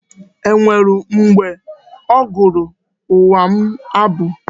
E nwere mgbe ọ gụụrụ nwa m abụ?